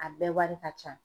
A bɛɛ wari ka can.